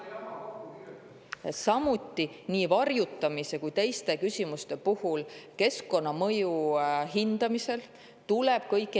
Samuti varjutamist ja teisi küsimusi tuleb keskkonnamõju hindamisel arvesse võtta.